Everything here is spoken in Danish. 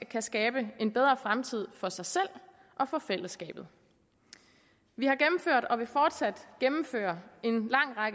kan skabe en bedre fremtid for sig selv og for fællesskabet vi har gennemført og vil fortsat gennemføre